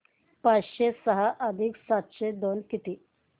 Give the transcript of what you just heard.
पाचशे सहा अधिक सातशे दोन किती